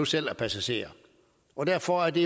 selv er passager derfor er det